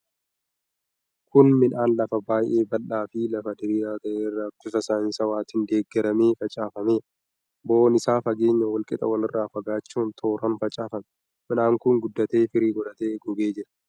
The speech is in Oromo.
Kun midhaan lafa baay'ee bal'aa fi lafa diriiraa ta'e irra bifa saayinsawaatiin deeggaramee facaafameedha. Bo'oon isaa fageenya wal qixaa walirraa fagaachuun tooraan facaafame. Midhaan kun guddatee, firii godhatee, gogee jira.